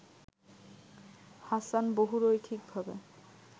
Hasan বহুরৈখিকভাবে